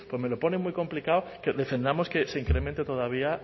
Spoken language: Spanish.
me lo pone muy complicado que defendamos que se incremente todavía